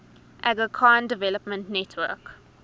aga khan development network